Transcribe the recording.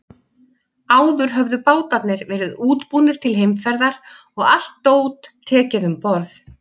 Áður höfðu bátarnir verið útbúnir til heimferðar og allt dót tekið um borð.